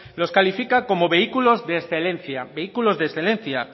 los califica como vehículo de excelencia vehículos de excelencia